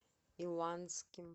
иланским